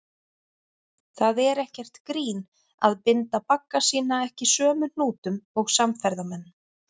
Það er ekkert grín að binda bagga sína ekki sömu hnútum og samferðamenn.